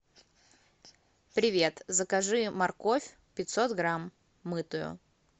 привет закажи морковь пятьсот грамм мытую